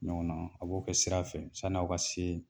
Ɲɔgɔn na a b'o kɛ sira fɛ sani aw ka se